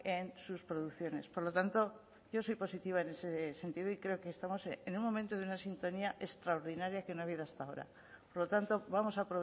en sus producciones por lo tanto yo soy positiva en ese sentido y creo que estamos en un momento de una sintonía extraordinaria que no ha habido hasta ahora por lo tanto vamos a